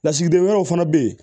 Lasigiden wɛrɛw fana bɛ yen